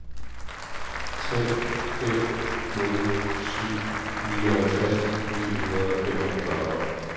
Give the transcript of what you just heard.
tre fem nul syv nioghalvtreds ni hundrede og femogfyrre